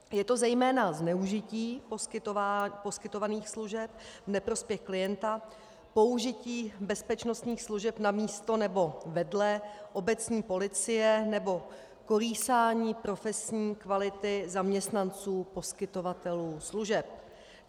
Je to zejména zneužití poskytovaných služeb v neprospěch klienta, použití bezpečnostních služeb namísto nebo vedle obecní policie nebo kolísání profesní kvality zaměstnanců poskytovatelů služeb.